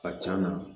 A can na